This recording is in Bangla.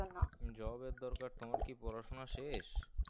job এর দরকার তোমার কি পড়াশোনা শেষ?